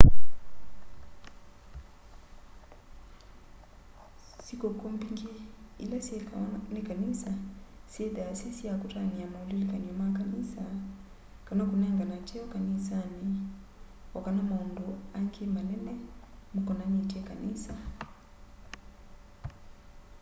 sĩkũkũ mbingĩ ila syĩkawa nĩ kanĩsa syĩnthaa syĩ sya kũtanĩa maũlĩlĩkanyo ma kanĩsa kana kũnengana kyeo kanĩsanĩ o kana maũndĩ a ngĩ manene makonanĩtye kanĩsa